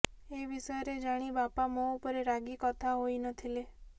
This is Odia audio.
ଏ ବିଷୟରେ ଜାଣି ବାପା ମୋ ଉପରେ ରାଗି କଥା ହୋଇ ନ ଥିଲେ